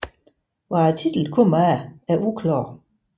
Hvad titlen kommer af er uklart